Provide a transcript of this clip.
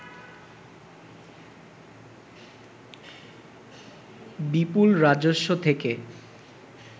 বিপুল রাজস্ব থেকে